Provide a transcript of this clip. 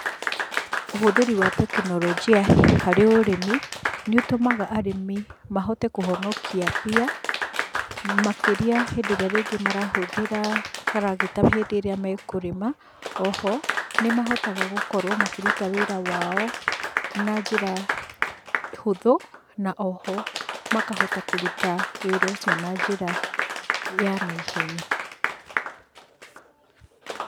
Ũhũthĩri wa tekinoronjĩa harĩ ũrĩmi nĩ ũtũmaga arĩmi mahote kũhonokia mbia makĩria hĩndĩ ĩrĩa rĩngĩ marahũthĩra karagita hĩndĩ ĩrĩa mekũrĩma.O ho, nĩ mahotaga gũkorwo makĩruta wĩra wao na njĩra hũthũ na o ho makahota kũruta wĩra ũcio na njĩra ya naihenya.